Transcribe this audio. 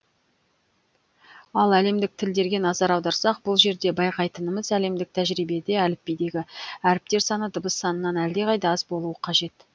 ал әлемдік тілдерге назар аударсақ бұл жерде байқайтынымыз әлемдік тәжірибеде әліпбидегі әріптер саны дыбыс санынан әлдеқайда аз болуы қажет